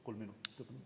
Kolm minutit, palun!